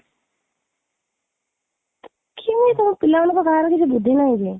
କେମିତି ତମ ପିଲା ମାନଙ୍କର କାହାର କିଛି ବୁଦ୍ଧି ନାହିଁ କି